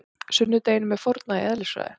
Sunnudeginum er fórnað í eðlisfræði.